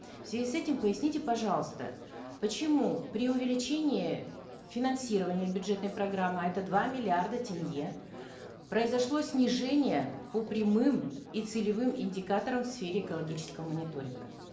в связи с этим поясните пожалуйста почему при увеличении финансирования бюджетной программы а это два миллиарда тенге произошло снижение по прямым и целевым индикаторам в сфере экологического мониторинга